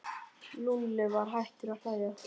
Lúlli var hættur að hlæja.